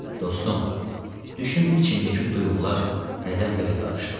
Dostum, düşün içimdəki duyğular nədən belə qarışdı.